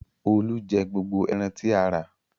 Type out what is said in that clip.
Olú jẹ gbogbo ẹran tí a rà.